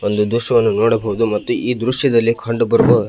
ಒಂದು ದ್ರಶ್ಯವನ್ನು ನೋಡಬಹುದು ಮತ್ತು ಈ ದ್ರಶ್ಯದಲ್ಲಿ ಕಂಡುಬರುವ --